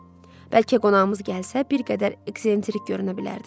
Bəlkə qonağımız gəlsə bir qədər ekcentrik görünə bilərdi.